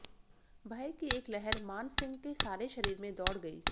भय की एक लहर मान सिंह के सारे शरीर में दौड़ गई